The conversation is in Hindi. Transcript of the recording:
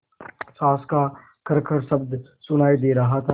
साँस का खरखर शब्द सुनाई दे रहा था